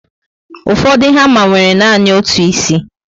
Ụfọdụ hama nwere nanị otu ísì